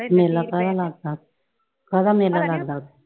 ਮੇਲਾ ਕਾਹਦਾ ਲੱਗਦਾ ਕਾਹਦਾ ਮੇਲਾ ਲੱਗਦਾ।